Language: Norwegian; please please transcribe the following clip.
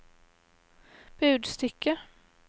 budstikke